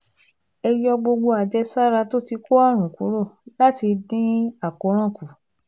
Ẹ yọ gbogbo àjẹsára tó ti kó àrùn kúrò láti dín àkóràn kù